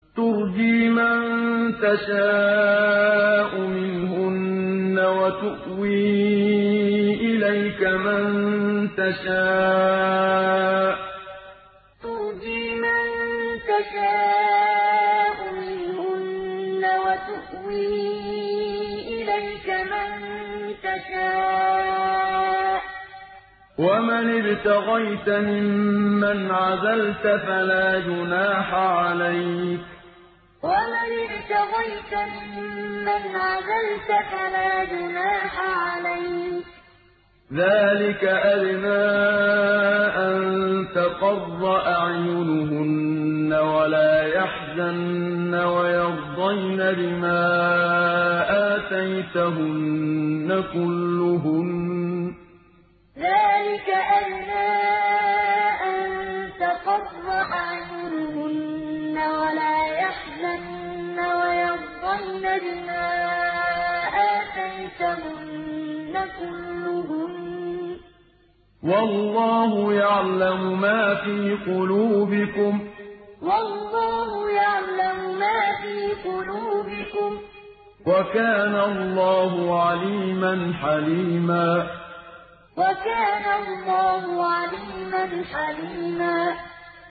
۞ تُرْجِي مَن تَشَاءُ مِنْهُنَّ وَتُؤْوِي إِلَيْكَ مَن تَشَاءُ ۖ وَمَنِ ابْتَغَيْتَ مِمَّنْ عَزَلْتَ فَلَا جُنَاحَ عَلَيْكَ ۚ ذَٰلِكَ أَدْنَىٰ أَن تَقَرَّ أَعْيُنُهُنَّ وَلَا يَحْزَنَّ وَيَرْضَيْنَ بِمَا آتَيْتَهُنَّ كُلُّهُنَّ ۚ وَاللَّهُ يَعْلَمُ مَا فِي قُلُوبِكُمْ ۚ وَكَانَ اللَّهُ عَلِيمًا حَلِيمًا ۞ تُرْجِي مَن تَشَاءُ مِنْهُنَّ وَتُؤْوِي إِلَيْكَ مَن تَشَاءُ ۖ وَمَنِ ابْتَغَيْتَ مِمَّنْ عَزَلْتَ فَلَا جُنَاحَ عَلَيْكَ ۚ ذَٰلِكَ أَدْنَىٰ أَن تَقَرَّ أَعْيُنُهُنَّ وَلَا يَحْزَنَّ وَيَرْضَيْنَ بِمَا آتَيْتَهُنَّ كُلُّهُنَّ ۚ وَاللَّهُ يَعْلَمُ مَا فِي قُلُوبِكُمْ ۚ وَكَانَ اللَّهُ عَلِيمًا حَلِيمًا